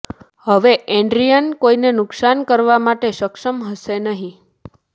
હવે એડ્રીયન કોઈને નુકસાન કરવા માટે સક્ષમ હશે નહીં